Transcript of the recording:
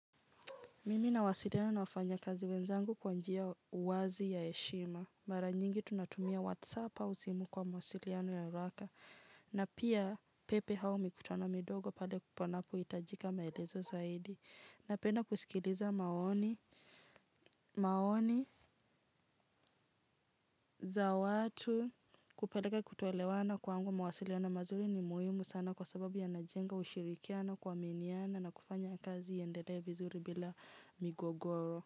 Mimi nawasiliana na wafanya kazi wenzangu kwa njia uwazi ya heshima. Mara nyingi tunatumia whatsap au simu kwa mawasiliano ya haraka. Na pia pepe hao mikutana midogo pale panapo hitajika maelezo zaidi. Napenda kusikiliza maoni za watu kupeleka kutoelewana kwangu mawasiliano mazuri ni muhimu sana kwa sababu ya najenga ushirikiana kuaminiana na kufanya kazi yaendelea vizuri bila migogoro.